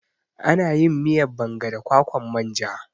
Ana yin miyan banga da kwakwan manja